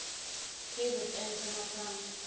kzn smme fund